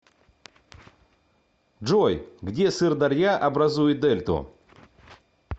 джой где сырдарья образует дельту